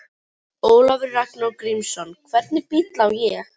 Sennilega var hér að leita einnar undirrótar einmanakenndarinnar.